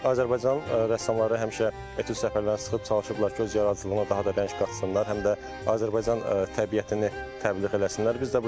Azərbaycan rəssamları həmişə etüd səfərlərini sıxıb çalışıblar ki, öz yaradıcılığına daha da rəng qatsınlar, həm də Azərbaycan təbiətini təbliğ eləsinlər.